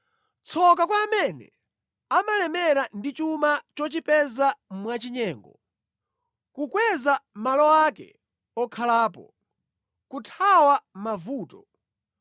“Tsoka kwa amene amalemera ndi chuma chochipeza mwachinyengo, kukweza malo ake okhalapo, kuthawa mavuto!